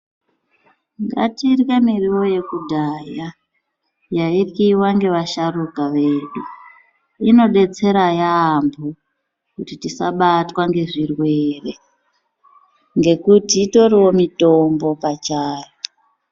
Ngatirye miriwo yekudhaya yaiyriwa ngevasharuka vedu inodetsera yaamho kuti tisabatwa ngezvirwere ngekuti itoriwo mitombo pachayo.